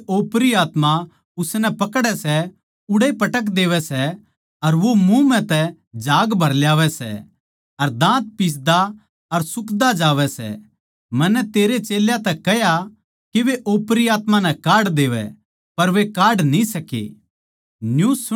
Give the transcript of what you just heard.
जित किते ओपरी आत्मा उसनै पकड़ै सै उड़ैए पटक देवै सै अर वो मुँह म्ह तै झाग भर लावै सै अर दाँत पिसदा अर सुखदा जावै सै मन्नै तेरे चेल्यां तै कह्या के वे ओपरी आत्मा नै काढ देवै पर वे काढ न्ही सके